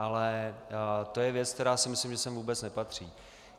Ale to je věc, která si myslím, že sem vůbec nepatří.